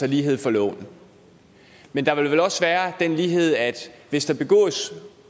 lighed for loven men der ville også være den lighed at hvis der